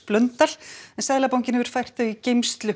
en Seðlabankinn hefur fært þau í geymslu